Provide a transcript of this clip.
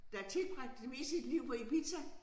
Der har tilbragt det meste af sit liv på Ibiza